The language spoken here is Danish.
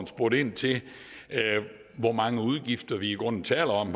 spurgte ind til hvor mange udgifter vi i grunden talte om